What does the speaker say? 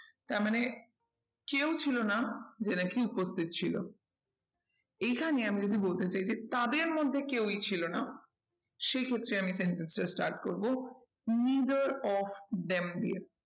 তারমানে কেউ ছিল না যে নাকি উপস্থিত ছিল এইখানে আমি যদি বলতে চাই যে তাদের মধ্যে কেউই ছিল না সেই সূত্রে আমি sentence টা start করবো neither of them দিয়ে